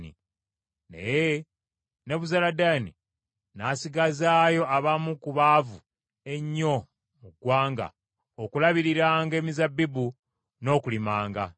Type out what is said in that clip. Naye Nebuzaladaani n’asigazaayo abamu ku baavu ennyo mu ggwanga okulabiriranga emizabbibu n’okulimanga.